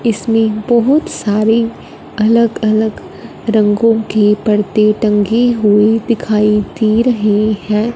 इसमें बहुत सारे अलग अलग रंगों के पर्दे टंगे हुए दिखाई दे रही है।